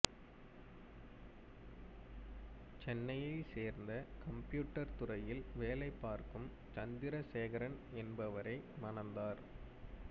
சென்னையை சேர்ந்த கம்பியூட்டர் துறையில் வேலை பார்க்கும் சந்திரசேகரன் என்பவரை மணந்தார்